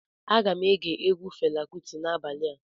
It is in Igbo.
Aga m ege egwu Fela Kụti n'abalịa